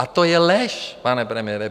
A to je lež, pane premiére.